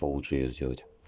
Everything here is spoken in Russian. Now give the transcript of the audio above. получше её сделать